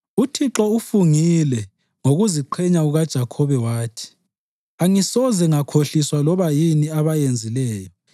UThixo ufungile ngokuziQhenya kukaJakhobe wathi, “Angisoze ngakhohliswa loba yini abayenzileyo.